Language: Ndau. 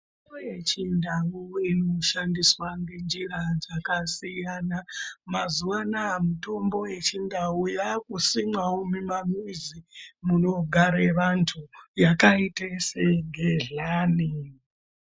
Mitombo yechindau iri kushandiswa ngenjira dzakasiyana mazuwanaya mitombo yechindau yakusimwawo mumamizi munogare vantu yakaite sengedhlani